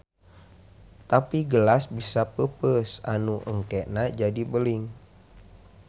Tapi gelas bisa peupeus anu engkena jadi beling.